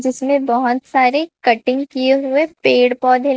जिसमें बहोत सारे कटिंग किए हुए पेड़ पौधे--